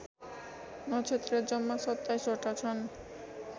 नक्षेत्र जम्मा २७ वटा छन्